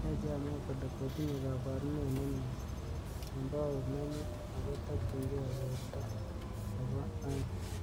Yache amwa kole kotinye kabarunet nemye kembout nenyu akotakchinkei weldo nebo ae'ng.